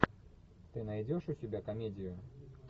ты найдешь у себя комедию